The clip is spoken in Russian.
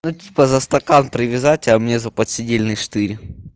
ну типа за стакан привязать а мне за подседельный штырь